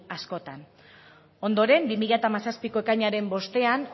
askotan ondoren bi mila hamazazpiko ekainaren bostean